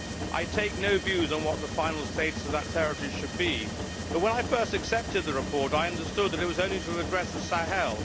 I take no views on what the final status of that territory should be, but when I first accepted the report, I understood that it was only to address the Sahel.